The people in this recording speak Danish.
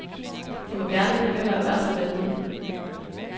De må gerne blive ved med at være så venlige.